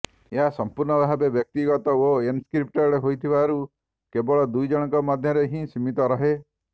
ଏହା ସମ୍ପୂର୍ଣ୍ଣ ଭାବେ ବ୍ୟକ୍ତିଗତ ଓ ଏନ୍କ୍ରିପଟେଡ୍ ହୋଇଥିବାରୁ କେବଳ ଦୁଇ ଜଣଙ୍କ ମଧ୍ୟରେ ହିଁ ସୀମିତ ରହେ